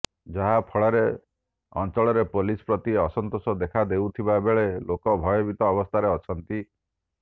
ଯାହାଫଳରେ ଅଞ୍ଚଳରେ ପୋଲିସ ପ୍ରତି ଅସନ୍ତୋଷ ଦେଖା ଦେଉଥିବା ବେଳେ ଲୋକେ ଭୟଭିତ ଅବସ୍ଥାରେ ଅଛନ୍ତି